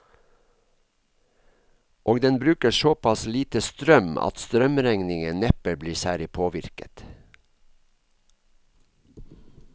Og den bruker såpass lite strøm at strømregningen neppe blir særlig påvirket.